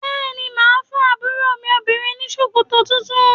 Bẹ́ẹ̀ ni, máa fún àbúrò mi obìnrin ní ṣòkòtò tuntun.